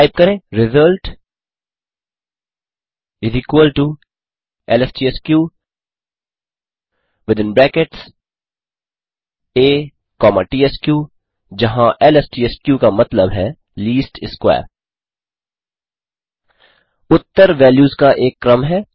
type करें result LSTSK within brackets a comma tsk जहाँ LSTSK का मतलब है लीस्ट स्क्वेयर उत्तर वैल्यूज़ का एक क्रम है